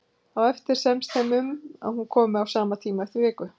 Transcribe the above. Á eftir semst þeim um að hún komi á sama tíma eftir viku.